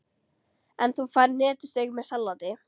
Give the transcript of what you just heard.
En þú færð hnetusteik með salati.